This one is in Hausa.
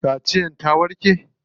Ciwon kaciyan ya warke?